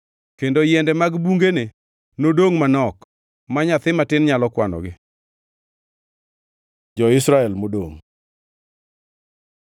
Kendo yiende mag bungene nodongʼ manok, ma nyathi matin nyalo kwanogi. Jo-Israel modongʼ